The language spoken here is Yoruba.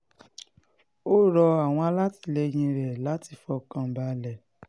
ó rọ àwọn alátìlẹyìn rẹ̀ láti fọkàn balẹ̀